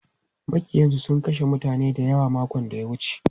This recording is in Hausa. Maƙiyansu sun kashe mutane dayawa makon da ya wuce.